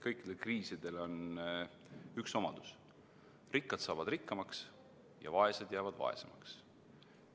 Kõikidel kriisidel on üks omadus: rikkad saavad rikkamaks ja vaesed jäävad vaesemaks.